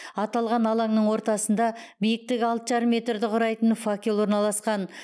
аталған алаңның ортасында биіктігі алты жарым метрді құрайтын факел орналасқан